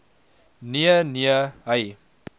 nee nee hy